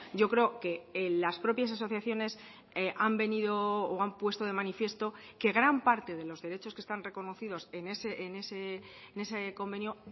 yo creo que las propias asociaciones han venido o han puesto de manifiesto que gran parte de los derechos que están reconocidos en ese convenio